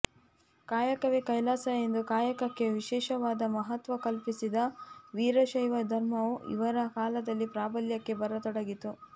ಕಾಯಕವೇ ಕೈಲಾಸ ಎಂದು ಕಾಯಕಕ್ಕೆ ವಿಶೇಷವಾದ ಮಹತ್ವ ಕಲ್ಪಿಸಿದ ವೀರಶೈವ ಧರ್ಮವು ಇವರ ಕಾಲದಲ್ಲಿ ಪ್ರಾಬಲ್ಯಕ್ಕೆ ಬರತೊಡಗಿತ್ತು